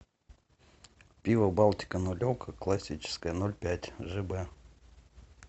пиво балтика нулевка классическая ноль пять жэ бэ